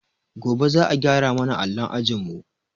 Gobe za a gyara ma na allon ajinmu.